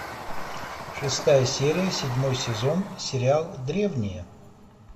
шестая серия седьмой сезон сериал древние